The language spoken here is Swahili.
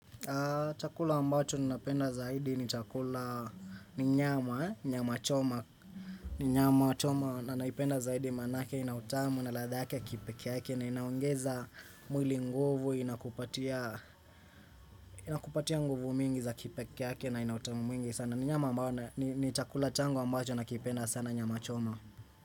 Chakula ambacho ni napenda zaidi ni chakula ni nyama, nyama choma, ni nyama choma na naipenda zaidi manake, inautamu na ladha yake ya kipeke yake na inaongeza mwili nguvu, inakupatia nguvu mingi za kipeke yake na inautamu mwingi sana. Ni nyama ambayo ni chakula changu ambacho nakipenda sana nyama choma.